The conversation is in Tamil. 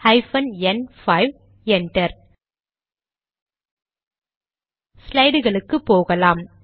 ஹைபன் என் 5 என்டர் ஸ்லைடுகளுக்கு போகலாம்